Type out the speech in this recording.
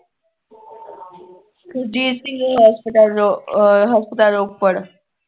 ਸੁਰਜੀਤ ਸਿੰਘ ਹਸਪਤਾਲ ਰੋ ਅਹ ਹਸਪਤਾਲ ਰੋਪੜ